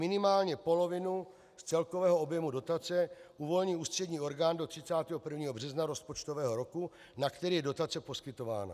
Minimálně polovinu z celkového objemu dotace uvolní ústřední orgán do 31. března rozpočtového roku, na který je dotace poskytována.